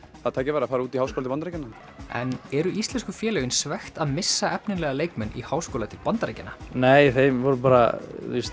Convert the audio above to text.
það tækifæri að fara út í háskóla til Bandaríkjanna en eru íslensku félögin svekkt að missa efnilega leikmenn í háskóla til Bandaríkjanna nei þeir voru bara